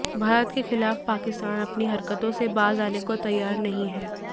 भारत के खिलाफ पाकिस्तान अपनी हरकतों से बाज अाने को तैयार नहीं है